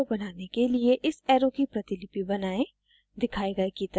2 अधिक arrow बनाने के लिए इस arrow की प्रतिलिपि बनाएं